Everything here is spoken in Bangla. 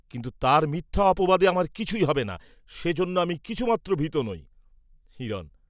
কিন্তু তার মিথ্যা অপবাদে আমার কিছুই হবে না, সে জন্য আমি কিছুমাত্র ভীত নই। হিরণ